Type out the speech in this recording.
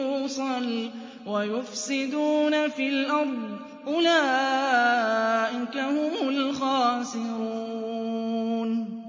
يُوصَلَ وَيُفْسِدُونَ فِي الْأَرْضِ ۚ أُولَٰئِكَ هُمُ الْخَاسِرُونَ